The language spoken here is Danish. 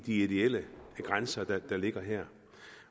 ideelle grænser der ligger her